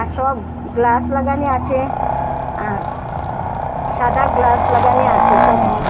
সব গ্লাস লাগানি আছে আর সাদা গ্লাস লাগানি আছে সব।